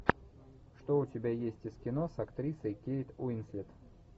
что у тебя есть из кино с актрисой кейт уинслет